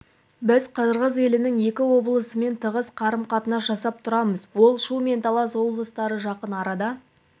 біз қырғыз елінің екі облысымен тығыз қарым-қатынас жасап тұрамыз ол шу және талас облыстары жақын арада